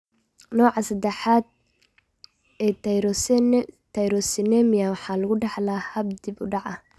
Nooca sedax aad ee Tyrosinemia waxaa lagu dhaxlaa hab dib u dhac ah.